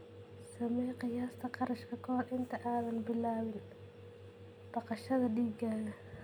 Samee qiyaasta kharashka ka hor inta aanad bilaabin dhaqashada digaagga.